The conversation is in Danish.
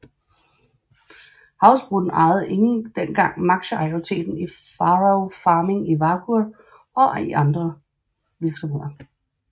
Havsbrún ejede dengang aktiemajoriteten i Faroe Farming i Vágur og i andre virksomheder